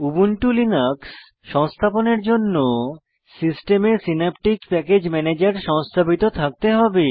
Ubuntu Linux সংস্থাপনের জন্য সিস্টেমে সিন্যাপটিক প্যাকেজ ম্যানেজার সংস্থাপিত থাকতে হবে